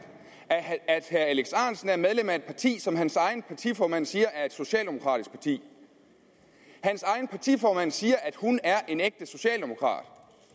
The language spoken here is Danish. herre alex ahrendtsen er medlem af et parti som hans egen partiformand siger er et socialdemokratisk parti hans egen partiformand siger at hun er en ægte socialdemokrat